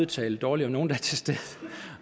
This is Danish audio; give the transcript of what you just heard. tale dårligt om nogle der